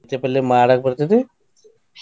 ಮೆಂತೆ ಪಲ್ಲೆ ಮಾಡಾಕ ಬರ್ತೆತಿ?